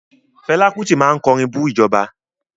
Fẹlá Kútì máa kọrin bú ìjọba.